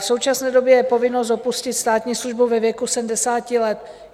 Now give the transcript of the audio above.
V současné době je povinnost opustit státní službu ve věku 70 let.